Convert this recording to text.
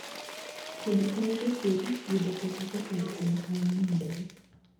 Kodhi konyo jopur yudo pesa kokalo kuom ohala momedore